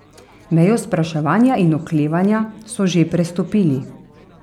Mejo spraševanja in oklevanja so že prestopili.